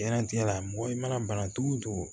Diɲɛnatigɛ la mɔgɔ i mana bana togo togo